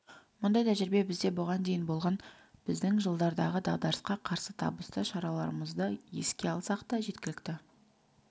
мұндай тәжірибе бізде бұған дейін болған біздің жылдардағы дағдарысқа қарсы табысты шараларымызды еске алсақ та жеткілікті